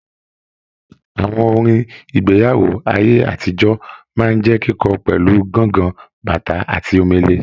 Àwọn orin igbeyawo aye-atijoọ máa n jẹ kíkọ pẹlu, gángan, bàtá àti Omele.